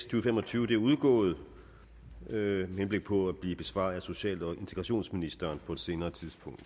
og fem og tyve er udgået med henblik på at blive besvaret af social og integrationsministeren på et senere tidspunkt